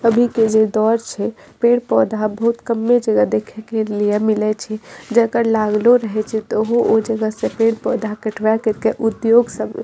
अभी के जे दौर छै पेड़-पौधा बहुत कम्मे जगह देखे के लिए मिले छै जेकर लागलो रहे छै त अहू उ जगह से पेड़-पौधा कटवा करके उद्योग सब --